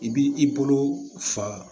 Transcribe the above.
I b'i bolo fa